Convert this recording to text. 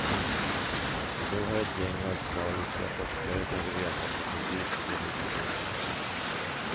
Nu har ett gäng australiska forskare tagit reda på precis hur det ligger till.